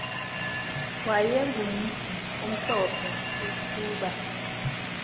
wayegumntu omhlophe eqhuba